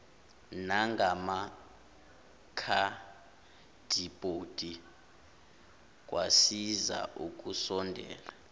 nangamakhadibhodi kwasiza ukusondela